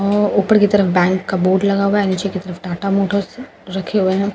हम्म ऊपर की तरफ बैंक का बोर्ड लगा हुआ है नीचे की तरफ टाटा मोटर्स रखें हुए हैं और --